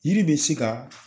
Yiri bɛ se ka